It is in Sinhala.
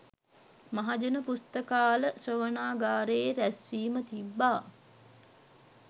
මහජන පුස්තකාල ශ්‍රවණාගාරයේ රැස්වීම තිබ්බා